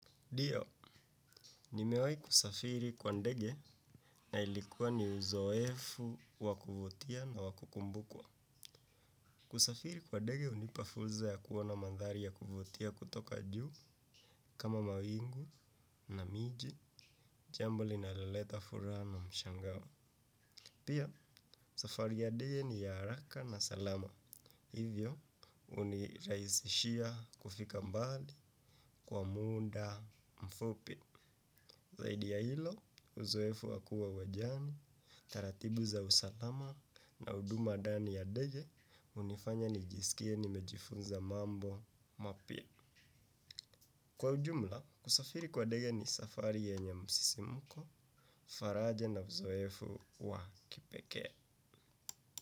Dio, nimewai kusafiri kwa ndege na ilikuwa ni uzoefu wakuvutia na wakukumbukwa. Kusafiri kwa ndege unipafulza ya kuona mandhari ya kuvutia kutoka juu kama mawingu na miji, jambo linaloleta furaha ama mshangawo. Pia, safari ya ndege ni ya haraka na salama. Hivyo, uniraisishia kufika mbali kwa munda mfupi. Zaidi ya hilo, uzoefu wakua uwajani, taratibu za usalama na uduma dani ya dege, unifanya nijisikie ni mejifunza mambo mapia. Kwa ujumla, kusafiri kwa dege ni safari yenye msisimuko, faraja na uzoefu wa kipeke.